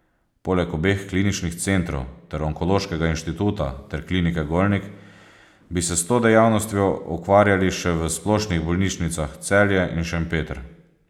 Poleg obeh kliničnih centrov ter Onkološkega inštituta ter Klinike Golnik bi se s to dejavnostjo ukvarjali še v splošnih bolnišnicah Celje in Šempeter.